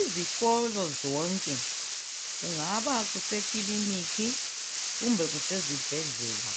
Izikolo zonke, kungaba kusekilinikhi kumbe kusezibheslela.